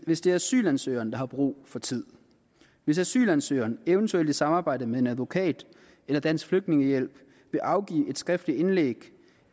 hvis det er asylansøgeren der har brug for tid hvis asylansøgeren eventuelt i samarbejde med en advokat eller dansk flygtningehjælp vil afgive et skriftligt indlæg